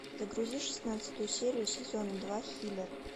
загрузи шестнадцатую серию сезона два хилер